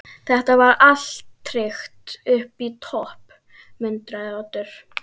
Þetta var allt tryggt upp í topp- muldraði Oddur.